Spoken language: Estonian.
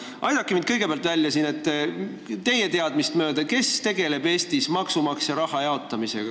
Aidake mind välja: kes tegeleb teie teadmist mööda Eestis maksumaksja raha jaotamisega?